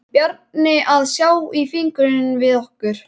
Bjarni að sjá í fingur við okkur.